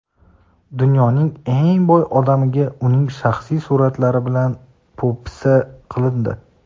Dunyoning eng boy odamiga uning shaxsiy suratlari bilan po‘pisa qilindi.